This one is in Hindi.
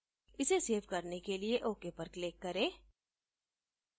इसे सेव करने के लिए ok पर click करें